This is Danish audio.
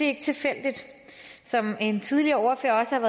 ikke tilfældigt som en tidligere ordfører også